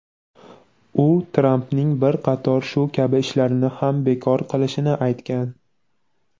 U Trampning bir qator shu kabi ishlarini ham bekor qilishini aytgan.